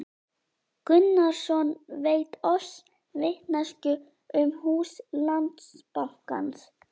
Gunnarsson veitt oss vitneskju um hús Landsbankans.